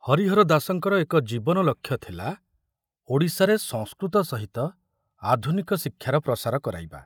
ହରିହର ଦାସଙ୍କର ଏକ ଜୀବନ ଲକ୍ଷ୍ୟ ଥିଲା ଓଡ଼ିଶାରେ ସଂସ୍କୃତ ସହିତ ଆଧୁନିକ ଶିକ୍ଷାର ପ୍ରସାର କରାଇବା।